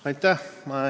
Aitäh!